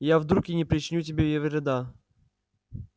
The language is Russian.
я вдруг и не причиню тебе вреда